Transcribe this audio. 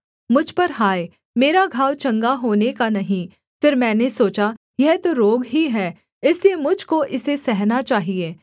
मुझ पर हाय मेरा घाव चंगा होने का नहीं फिर मैंने सोचा यह तो रोग ही है इसलिए मुझ को इसे सहना चाहिये